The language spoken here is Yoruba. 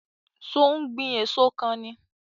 So ó ń gbìn èso kan ni?